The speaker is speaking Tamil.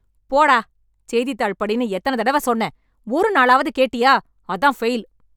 போடா ! செய்தித்தாள் படின்னு எத்தன தடவ சொன்னேன்; ஒரு நாளாவது கேட்டியா? அதான் ஃபெயில்.